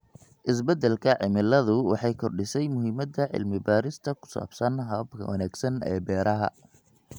Isbeddelka cimiladu waxay kordhisay muhiimada cilmi baarista ku saabsan hababka wanaagsan ee beeraha.